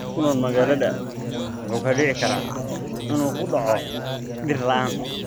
Qof ku nool magaalada wuxuu u dhici karaa inuu ku dhaco dhir la�aan.